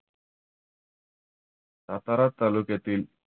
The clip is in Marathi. सातारा तालुक्यातील